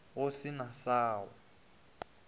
go se na sa go